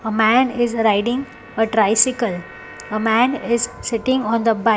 A man is a riding a tricycle a man is sitting on the bike.